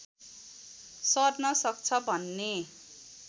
सर्न सक्छ भन्ने